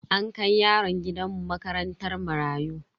An kai yaron gidan mu makarantar marayu.